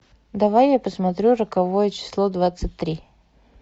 давай я посмотрю роковое число двадцать три